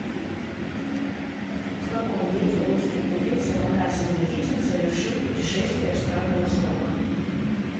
в каком веке русский купец афанасий никитин совершил путешествие в страны востока